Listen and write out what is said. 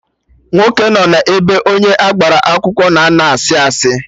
Nwoke nọ n'ebe onye agbara akwụkwọ na-ano na asị asị